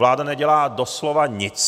Vláda nedělá doslova nic.